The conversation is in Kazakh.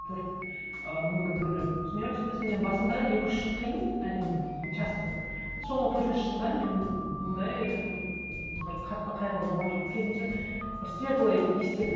төрт ы мүмкін біреулер түсінер түсінбес мен басында екі үш жыл қиын әрине мхм часто соңғы төртінші жылда мен мындай ыыы бір қатты қайғыру болған жоқ керісінше бір светлый естелік